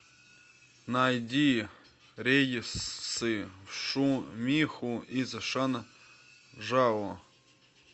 найди рейсы в шумиху из шанжао